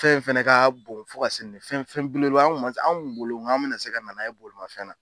Fɛn in fɛnɛ ka bon fo ka se fɛn fɛn belebeleba an kun ma se an kun bolo an bɛna se ka nana ye bolomafɛn na.